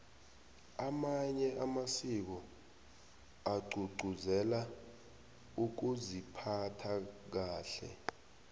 amanye amasiko agcugcuzela ukuziphatha kahle